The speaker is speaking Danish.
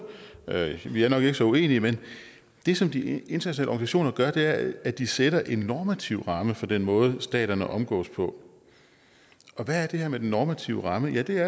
vi er nok ikke så uenige men det som de internationale organisationer gør er at at de sætter en normativ ramme for den måde staterne omgås på og hvad er det her med den normative ramme ja det er